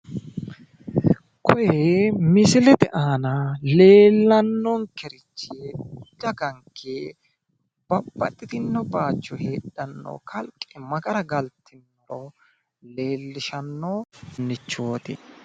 kuri misilete aana leellannonkeri daganke babbaxxitino bayiicho heedhano kalqe ma gara galtinoro leellishannorichooti